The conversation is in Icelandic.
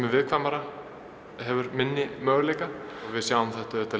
er viðkvæmara hefur minni möguleika við sjáum þetta auðvitað